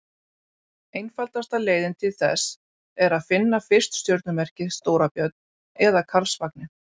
Einfaldasta leiðin til þess er að finna fyrst stjörnumerkið Stóra-björn eða Karlsvagninn.